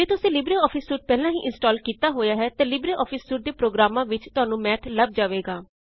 ਜੇ ਤੁਸੀਂ LibreOffice suite ਪਹਿਲਾਂ ਹੀ ਇਂਸਟਾਲ਼ ਕੀਤਾ ਹੋਇਆ ਹੈ ਤਾਂ ਲਿਬਰੇਆਫਿਸ ਸੂਟ ਦੇ ਪ੍ਰੋਗ੍ਰਾਮਾਂ ਵਿੱਚ ਤੁਹਾਨੂੰ ਮੈਥ ਲਭ ਜਾਵੇਗਾ